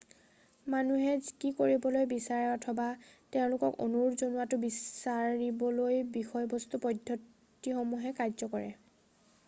মানুহে কি কৰিবলৈ বিচাৰে অথবা তেওঁলোকক অনুৰোধ জনোৱাটো বিচাৰিবলৈ বিষয়বস্তু পদ্ধতিসমূহে কাৰ্য কৰে